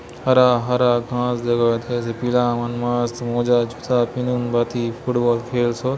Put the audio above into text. हरा हरा घास जगहत हे जे पीला मन मस्त मोजा जूता पिंदून भांति फुटबॉल खेलसोत ।